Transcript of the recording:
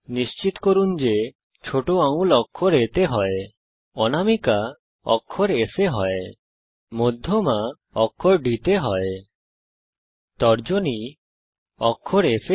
নিশ্চিত করুন যে ছোট আঙুল অক্ষর A তে হয় অনামিকা অক্ষর S এ হয় মধ্যমা অক্ষর D তে হয় তর্জনী অক্ষর F এ হয়